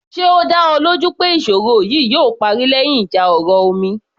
Ṣe ó dá ọ lójú pé ìṣòro yìí yóò parí lẹ́yìn ìjà ọ̀rọ̀ omi